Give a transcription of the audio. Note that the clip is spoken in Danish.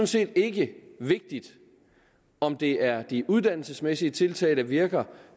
set ikke vigtigt om det er de uddannelsesmæssige tiltag der virker